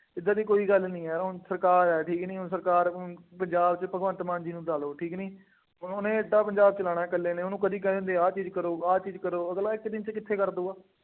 ਏਦਾਂ ਦੀ ਕੋਈ ਗੱਲ ਨਹੀ ਹੈ, ਹੁਣ ਸਰਕਾਰ ਹੈ, ਠੀਕ ਨਹੀਂ ਹੁਣ, ਸਰਕਾਰ ਨੂੰ ਬਾਜ਼ਾਰ ਵਿੱਚ ਭਗਵੰਤ ਮਾਨ ਜੀ ਨੂੰ ਲਾ ਲਉ ਠੀਕ ਕਿ ਨਹੀਂ, ਉਹਨੇ ਐਡਾ ਪੰਜਾਬ ਚਲਾਉਣਾ ਇਕੱਲੇ ਨੇ, ਉਹਨੂੰ ਕਦੀ ਕਹਿ ਦਿੰਦੇ ਆ ਆਹ ਚੀਜ਼ ਕਰੋ, ਆਹ ਚੀਜ਼ ਕਰੋ, ਅਗਲਾ ਇੱਕ ਦਿਨ ਚ ਕਿੱਥੇ ਕਰ ਦੇਊ।